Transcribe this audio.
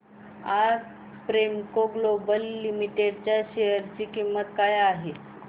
आज Premco global limited च्या share ची किंमत काय आहे